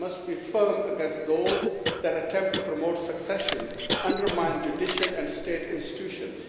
We must be firm against those who attempt to promote secession and undermine judicial and state institutions.